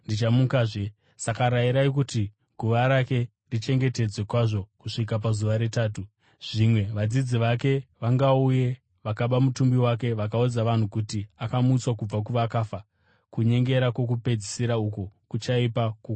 Saka rayirai kuti guva rake richengetedzwe kwazvo kusvika pazuva retatu. Zvimwe vadzidzi vake vangauye vakaba mutumbi wake vakaudza vanhu kuti akamutswa kubva kuvakafa. Kunyengera kwokupedzisira uku kuchaipa kukunda kwokutanga.”